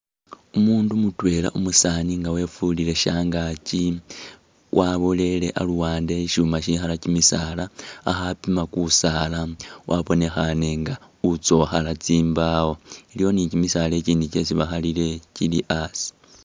Umundu mutwela umusani inga wefulile shankaki wawolele aluwande he shishuma shikala kimisaala akhapima kusaala wabonekhanenga uzokhala tsimbawo iliwo ni kimisaala ikindi kyesi bakhalile kili asi.